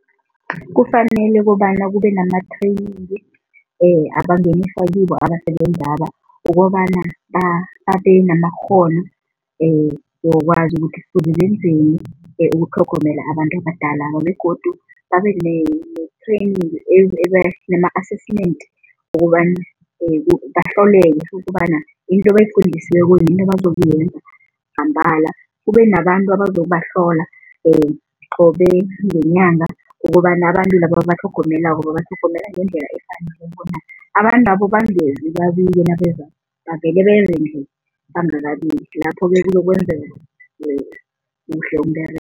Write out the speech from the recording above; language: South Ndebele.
Kufanele kobana kube nama-training abasebenzaba ukobana babenamakghono wokwazi ukuthi kufuze benzeni ukutlhogomela abantu abadala begodu babene-training pilo ama-assessment wokobana ukobana into abayifundisiweko, into abazokuyenza kube nabantu abazokubahlola qobe ngenyanga ukobana abantu laba ababatlhogomelako babatlhogomela ngendlela efaneleko na. Abantwabo bangezi babike nabezako, bavele beze nje bangakabiki, lapho-ke kuzokwenzeka kuhle umberego.